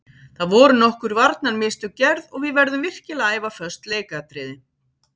Það voru nokkur varnarmistök gerð og við verðum virkilega að æfa föst leikatriði.